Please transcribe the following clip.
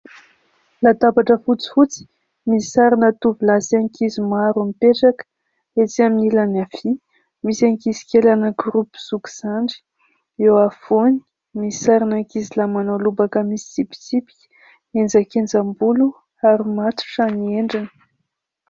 Latabatra fotsifotsy misy sarina tovolahy sy ankizy maro mipetraka ; etsy amin'ilany avia, misy ankizikely anankiroa mpizoky-zandry ; eo afovoany, misy sarina ankizilahy manao lobaka misy tsipitsipika, enjakenjam-bolo, ary matotra ny endriny.